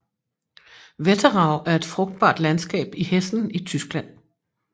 Wetterau er et frugtbart landskab i Hessen i Tyskland